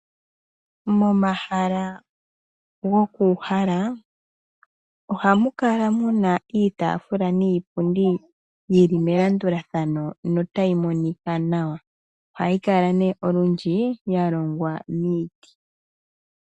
Momahala gokuuhala ohamu kala muna iitaafula niipundi yili melandulathano notayi monika nawa. Ohayi kala nee olundji ya longwa miiti.